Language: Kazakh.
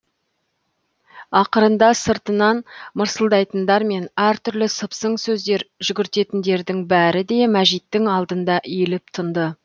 ақырында сыртынан мырсылдайтындар мен әртүрлі сыпсың сөздер жүгіртетіндердің бәрі де мәжиттің алдында иіліп тынды